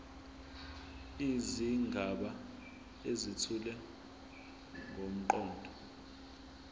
izigaba ezethula ngomqondo